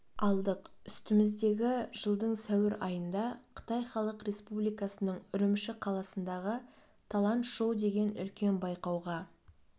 алдық үстіміздегі жылдың сәуір айында қытай халық республикасының үрімші қаласындағы талант шоу деген үлкен байқауға